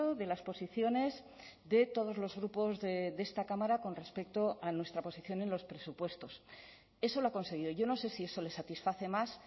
de las posiciones de todos los grupos de esta cámara con respecto a nuestra posición en los presupuestos eso lo ha conseguido yo no sé si eso le satisface más